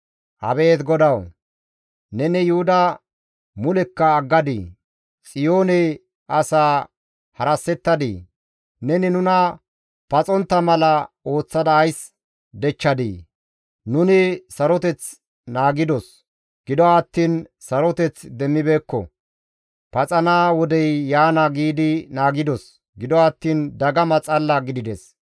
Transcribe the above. Abeet GODAWU! Neni Yuhuda mulekka aggadii? Xiyoone asaa harassetadii? Neni nuna paxontta mala ooththada ays dechchadii? Nuni saroteth naagidos; gido attiin saroteth demmibeekko; «Paxana wodey yaana» giidi naagidos; gido attiin dagama xalla gidides.